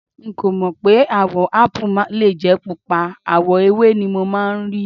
N kò mọ̀ pé àwò Ápù lè jẹ́ Pupa, àwọ̀ ewé ni mo máa ń rí.